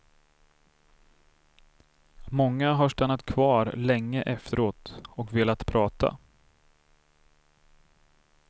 Många har stannat kvar länge efteråt och velat prata.